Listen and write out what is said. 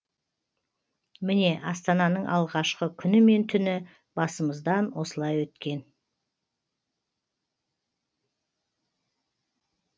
міне астананың алғашқы күні мен түні басымыздан осылай өткен